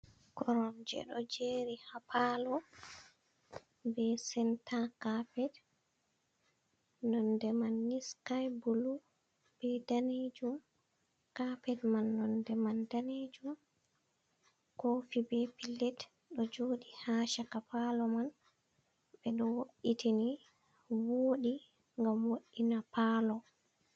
Koromje ɗo jeri haa paalo be senta kapet nonde man ni sky bulu be danejum. Kapet man nonde man danejum, kofi be pilet ɗo jodi ha chaka palo man, ɓe ɗo wo'ittini voɗi ngam woɗina palo.